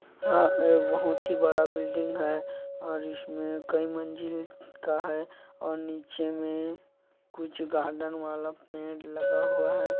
हा बहुत ही बड़ा बिल्डिंग है और इसमें कई मंजिल का है और नीचे मे कुछ गार्डन वाला पेड़ लगा हुआ है।